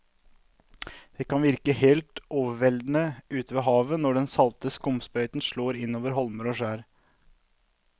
Det kan virke helt overveldende ute ved havet når den salte skumsprøyten slår innover holmer og skjær.